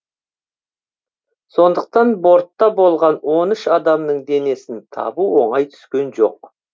сондықтан бортта болған он үш адамның денесін табу оңай түскен жоқ